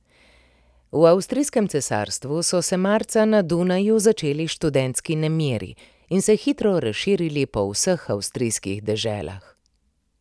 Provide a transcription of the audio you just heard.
V avstrijskem cesarstvu so se marca na Dunaju začeli študentski nemiri in se hitro razširili po vseh avstrijskih deželah.